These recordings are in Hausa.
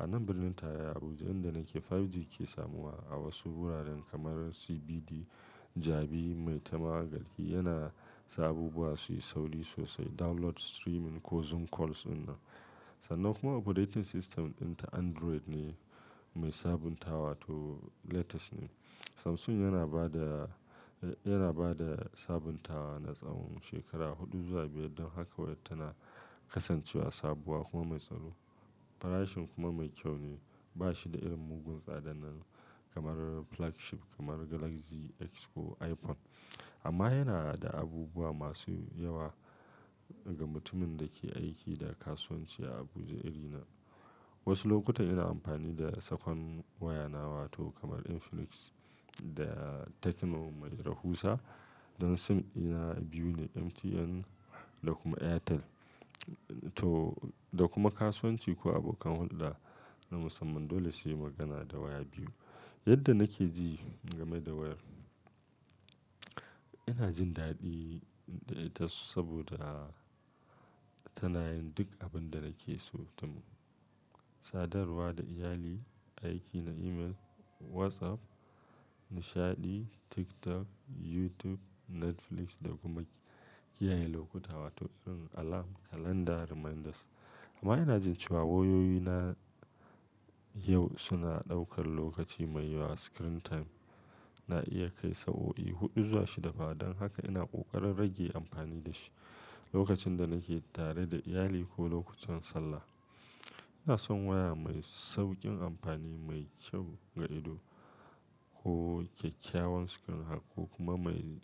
A nan birnin tarayya Abuja inda nake 5G ke samuwa a wasu wuraren kamar CBD, Jabi, Maitama garki yana sa abubuwa su yi sauri sosai. Download, streaming ko Zoom calls inna. Sannan kuma operating system ɗinta Android ne mai sabuntawa to latest ne. Samsung yana ba da, yana ba da sabuntawa na tsawon shekara huɗu zuwa biyar. Don haka wayar tana kasancewa sabuwa kuma mai tsaro. Farashin kuma mai kyau ne. Ba shi da irin mugun tsadan nan kamar flagship kamar Galaxy X ko iPhone. Amma yana da abubuwa masu yawa ga mutumin da ke aiki da kasuwanci a Abuja irin na. Wasu lokuta ina amfani da sakon waya na wato kamar Infinix da Tecno Mai Rahusa. Don SIM ina biyu ne, MTN da kuma Airtel. To da kuma kasuwanci ko abokan hulɗa na musamman. Dole sai mun dan ha da waya biyu. Yadda nake ji game da wayar, ina jin daɗi da ita saboda tana yin duk abin da nake so. Tum, sadarwa da iyali, aiki na email, WhatsApp, nishaɗi, TikTok, YouTube, Netflix da kuma kiyaye lokuta wato irin alarm, calendar reminders. Amma ina jin cewa wayoyina yau suna ɗaukar lokaci mai yawa screen time. Na iya kai sa o i huɗu zuwa shida fa. Don haka ina ƙoƙarin rage amfani da shi lokacin da nake tare da iyali ko lokutan sallah. Ina son waya mai sauƙin amfani, mai kyau ga ido ko kyakkyawan screen haka ko kuma mai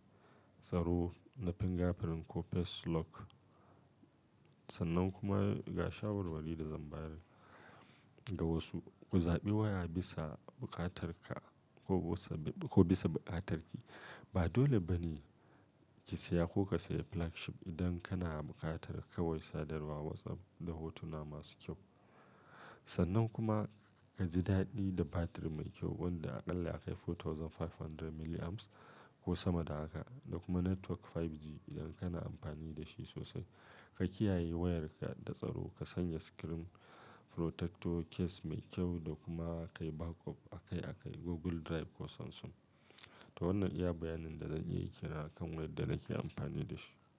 tsaro na fingerprint ko face lock. Sannan kuma ga shawarwari da zamba yar ga wasu, ku zaɓi waya bisa buƙatarka ko bisa buƙatarki. Ba dole ba ne ki saya ko ka saya flagship idan kana buƙatar kawai sadarwa, WhatsApp da hotuna masu kyau. Sannan kuma ka ji daɗi da batir mai kyau wanda aƙalla ya kai dubu huɗu da ɗari biyar milliamps ko sama da haka. Da kuma network 5G idan kana amfani da shi sosai. Ka kiyaye wayarka da tsaro, ka sanya screen protector, case mai kyau da kuma ka yi backup a kai a kai Google Drive ko Samsung. To wannan iya bayanin da zan iyayi kenan akan wayar da nake amfani da shi.